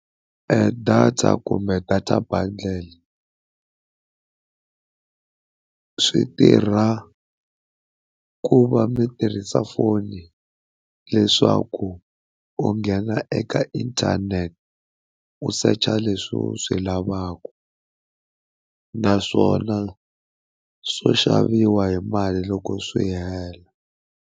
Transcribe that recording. Data kumbe data bundle swi tirha ku va mi tirhisa foni leswaku u nghena eka internet, u search leswi u swi lavaka, naswona swo xaviwa hi mali loko swi hela.